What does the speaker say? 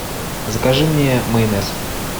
закажи мне майонез